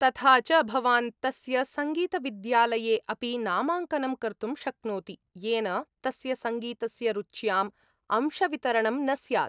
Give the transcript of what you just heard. तथा च भवान् तस्य सङ्गीतविद्यालये अपि नामाङ्कनं कर्तुं शक्नोति येन तस्य सङ्गीतस्य रुच्याम् अंशवितरणं न स्यात्।